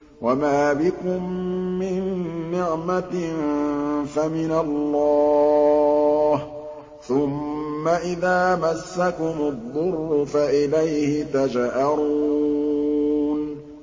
وَمَا بِكُم مِّن نِّعْمَةٍ فَمِنَ اللَّهِ ۖ ثُمَّ إِذَا مَسَّكُمُ الضُّرُّ فَإِلَيْهِ تَجْأَرُونَ